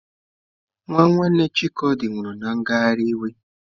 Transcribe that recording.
Nwanne Chikodi nwụrụ na ngagharị iwe